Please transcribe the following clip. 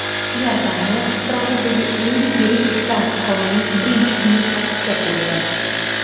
Iordaniya Isroildagi eng yirik gaz konining birinchi buyurtmachisi bo‘ldi.